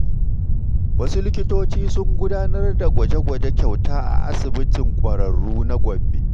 Wasu likitoci sun gudanar da gwaje-gwaje kyauta a asibitin kwararru na Gombe.